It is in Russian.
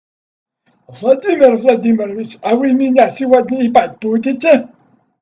владимир владимирович а вы меня сегодня ебать будете